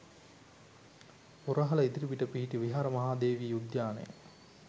පුරහල ඉදිරිපිට පිහිටි විහාර මහා දේවී උද්‍යානය